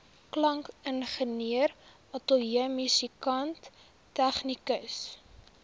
klankingenieur ateljeemusikant tegnikus